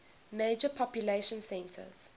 major population centers